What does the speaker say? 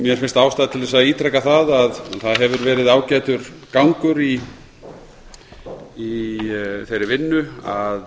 mér finnst ástæða til að ítreka að það hefur verið ágætur gangur í þeirri vinnu að